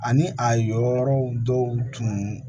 Ani a yɔrɔ dɔw tun